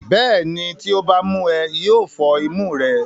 bẹ́ẹ̀ni, tí ó bá mú ẹ, yóò fọ́ imú rẹ.